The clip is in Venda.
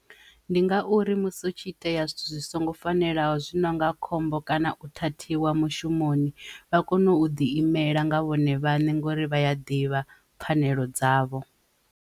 Ndi ngauri musi u tshi itea zwithu zwi songo fanelaho zwi nonga khombo kana u thuthiwa mushumoni vha kone u ḓi imela nga vhone vhaṋe ngori vhaya ḓivha pfhanelo dzavho.